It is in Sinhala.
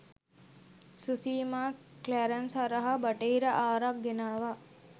සුසීමා ක්ලැරන්ස් හරහා බටහිර ආරක් ගෙනාවා